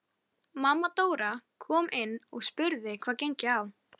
Erum við að fara að sjá aftökuna?